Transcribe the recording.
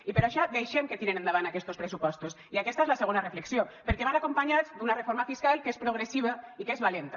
i per això deixem que tiren endavant aquestos pressupostos i aquesta és la segona reflexió perquè van acompanyats d’una reforma fiscal que és progressiva i que és valenta